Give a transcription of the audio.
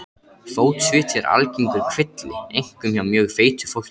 Fótsviti eru algengur kvilli, einkum hjá mjög feitu fólki.